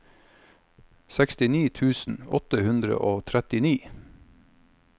sekstini tusen åtte hundre og trettini